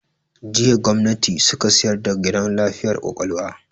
Jiya gwamnati suka sayar da gidan lafiyar kwakwalwa